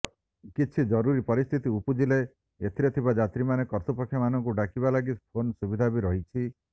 କିଛି ଜରୁରୀ ପରିସ୍ଥିତି ଉପୁଜିଲେ ଏଥିରେ ଥିବା ଯାତ୍ରୀମାନେ କର୍ତ୍ତୃପକ୍ଷମାନଙ୍କୁ ଡାକିବା ଲାଗି ଫୋନ୍ ସୁବିଧା ବି ରହିଛି